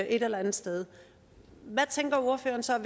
eller andet sted hvad tænker ordføreren så er